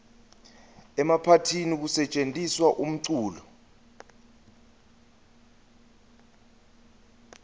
emaphathini kusetjentiswa umculo